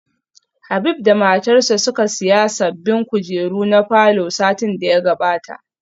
Habib da matarsa ​​suka siya sabbin kujeru na falor satin da ya gabata